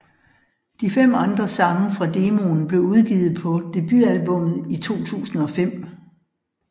De fem andre sange fra demoen blev udgivet på debutalbummet i 2005